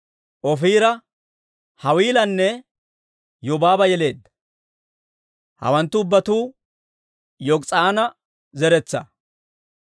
Ofiira, Hawiilanne Yobaaba yeleedda. Hawanttu ubbatuu Yok'is'aana zeretsaa.